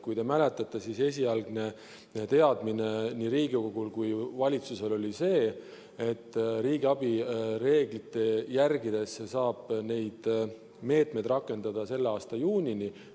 Kui te mäletate, siis esialgne teadmine nii Riigikogul kui ka valitsusel oli see, et riigiabi reegleid järgides saab neid meetmeid rakendada selle aasta juunini.